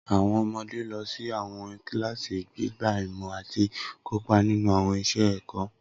Awọn ọmọde lọ si awọn kilasi, gbigba imọ ati kopa ninu awọn iṣẹ ẹkọ.